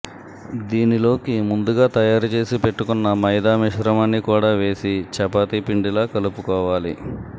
దీనిలోకి ముందుగా తయారు చేసి పెట్టుకున్న మైదా మిశ్రమాన్ని కూడా వేసి చపాతీ పిండిలా కలుపుకోవాలి